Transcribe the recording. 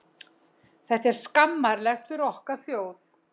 Þetta er skammarlegt fyrir okkar þjóð.